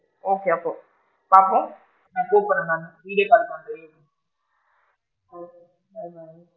Okay அப்போ பாப்போம் நான் கூப்பிடுறேன் நானு திங்கட்கிழமை okay bye bye.